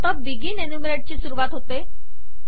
आता बिगिन एन्युमरेटची सुरूवात होते